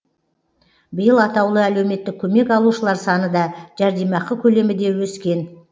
биыл атаулы әлеуметтік көмек алушылар саны да жәрдемақы көлемі де өскен